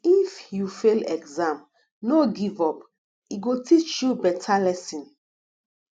if you fail exam no give up e go teach you beta lesson